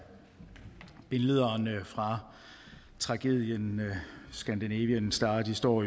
billederne fra tragedien scandinavian star står